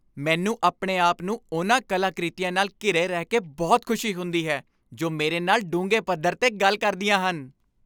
ਮੈਨੂੰ ਆਪਣੇ ਆਪ ਨੂੰ ਉਨ੍ਹਾਂ ਕਲਾਕ੍ਰਿਤੀਆਂ ਨਾਲ ਘਿਰੇ ਰਹਿ ਕੇ ਬਹੁਤ ਖੁਸ਼ੀ ਹੁੰਦੀ ਹੈ ਜੋ ਮੇਰੇ ਨਾਲ ਡੂੰਘੇ ਪੱਧਰ 'ਤੇ ਗੱਲ ਕਰਦੀਆਂ ਹਨ।